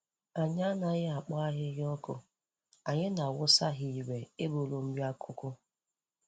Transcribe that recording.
Anyị anaghị akpọ ahịhịa ọkụ anyị na-awụsa ha ire ịbụrụ nri akụkụ.